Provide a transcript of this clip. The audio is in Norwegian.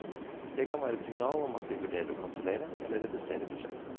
Det kan være et signal om at de vurdere å kansellere, eller redusere prosjektet.